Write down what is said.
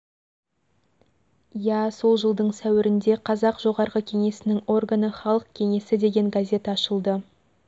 иә сол жылдың сәуірінде қазақ жоғарғы кеңесінің органы халық кеңесі деген газет ашылды